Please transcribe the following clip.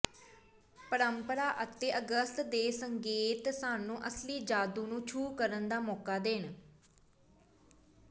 ਪਰੰਪਰਾ ਅਤੇ ਅਗਸਤ ਦੇ ਸੰਕੇਤ ਸਾਨੂੰ ਅਸਲੀ ਜਾਦੂ ਨੂੰ ਛੂਹ ਕਰਨ ਦਾ ਮੌਕਾ ਦੇਣ